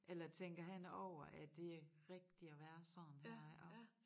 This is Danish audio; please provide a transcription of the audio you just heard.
Eller tænker han over er det rigtigt at være sådan her ik også